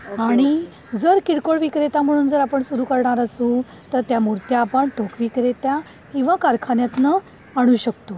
आणि जर किरकोळ विक्रेता म्हणून जर आपण सुरू करणार असू तर त्या मूर्त्या आपण ठोक विक्रेत्या किंवा किंवा कारखान्यातनं आणू शकतो.